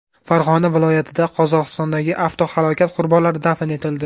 Farg‘ona viloyatida Qozog‘istondagi avtohalokat qurbonlari dafn etildi.